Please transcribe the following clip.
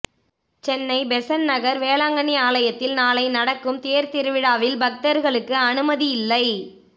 Chennai Besant Nagar Velankanni ஆலயத்தில் நாளை நடக்கும் தேர்திருவிழாவில் பக்தர்களுக்கு அனுமதியில்லை